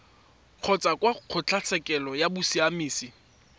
kgotsa kwa kgotlatshekelo ya bosiamisi